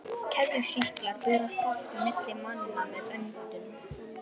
Keðjusýklar berast oft milli manna með öndun.